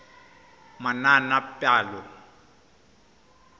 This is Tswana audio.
manaanepalo